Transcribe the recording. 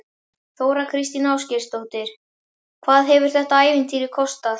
Þóra Kristín Ásgeirsdóttir: Hvað hefur þetta ævintýri kostað?